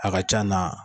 A ka c'a na